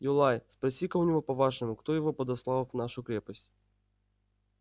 юлай спроси-ка у него по-вашему кто его подослал в нашу крепость